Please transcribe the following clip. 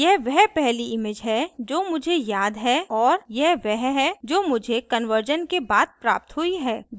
यह वह पहली image है जो मुझे याद है और यह वह है जो मुझे कन्वर्जन के बाद प्राप्त हुई है